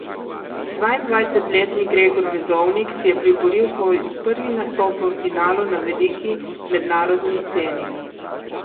Dvaindvajsetletni Gregor Vezonik si je priboril svoj prvi nastop v finalu na veliki mednarodni sceni.